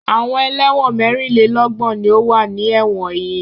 Àwọn ẹlẹ́wọ̀n mẹ́rìnlélọ́gbọ̀n ni ó wà ní ẹ̀wọ̀n yìí.